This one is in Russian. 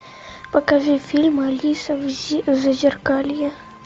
покажи фильм алиса в зазеркалье